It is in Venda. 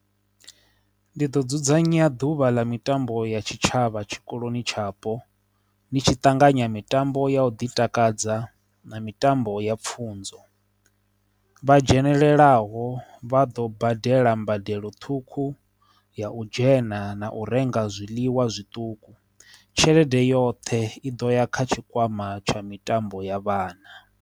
Ndi ḓo dzudzanya ḓuvha ḽa mitambo ya tshitshavha tshikoloni tshapo ndi tshi ṱanganya mitambo ya u ḓi takadza na mitambo ya pfunzo, vha dzhenelele tselaho vha ḓo badela mbadelo ṱhukhu ya u dzhena na u renga zwiḽiwa zwiṱuku tshelede yoṱhe i ḓo ya kha tshikwama tsha mitambo ya vhana.